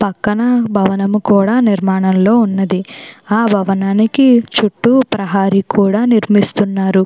పక్కన భవనం కూడా నిర్మాణంలో ఉన్నది. ఆ భవనానికి చుట్టూ ప్రహరీ కూడా నిర్మిస్తున్నారు.